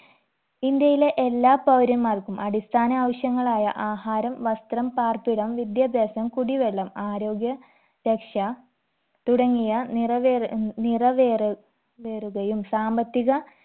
ഇന്ത്യയിലെ എല്ലാ പൗരന്മാർക്കും അടിസ്ഥാന ആവശ്യങ്ങളായ ആഹാരം വസ്ത്രം പാർപ്പിടം വിദ്യാഭ്യാസം കുടിവെള്ളം ആരോഗ്യ രക്ഷ തുടങ്ങിയ നിറവേറ ഉം നിറവേ വേറുകയും സാമ്പത്തിക